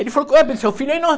Ele falou, seu filho é enorme.